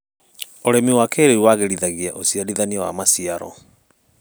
ũrĩmi wa kĩrĩu wagĩrithagia ũciarithania wa maciaro.